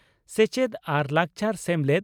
ᱥᱮᱪᱮᱛ ᱟᱨ ᱞᱟᱠᱪᱟᱨ ᱥᱮᱢᱞᱮᱫ